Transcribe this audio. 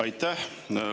Aitäh!